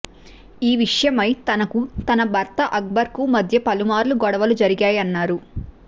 ఈ విషయమై తనకు తన భర్త అక్బర్కు మధ్య పలుమార్లు గొడవలు జరిగాయన్నారు